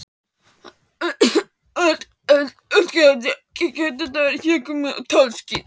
Að allt gæti þetta verið hégómi og tálsýn!